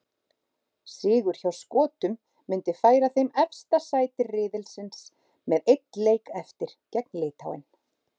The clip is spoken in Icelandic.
Sigur hjá Skotum myndi færa þeim efsta sæti riðilsins með einn leik eftir, gegn Litháen.